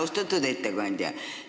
Austatud ettekandja!